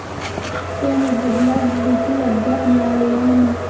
तो मोबदला देखील अद्याप मिळालेला नाही.